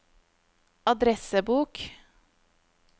adressebok